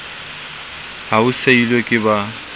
ha o seilwe ke ba